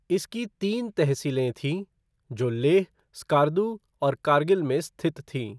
इसकी तीन तहसीलें थीं, जो लेह, स्कार्दू और कारगिल में स्थित थीं।